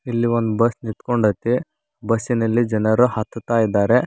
ಇಲ್ ಒಂದ್ ಬಸ್ ನಿಂತ್ಕೊಂಡೈತೆ ಬಸ್ಸಿನಲ್ಲಿ ಜನರು ಹತ್ತುತ್ತಾ ಇದ್ದಾರೆ.